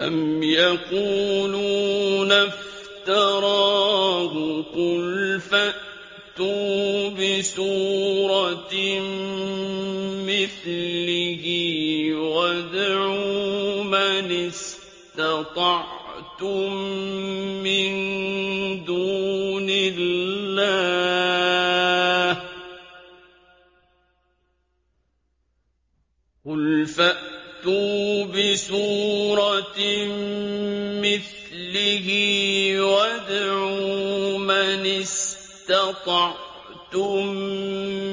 أَمْ يَقُولُونَ افْتَرَاهُ ۖ قُلْ فَأْتُوا بِسُورَةٍ مِّثْلِهِ وَادْعُوا مَنِ اسْتَطَعْتُم